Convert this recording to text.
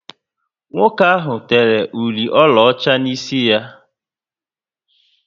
Nwoke ahụ tere ụli ọlaọcha n'isi ya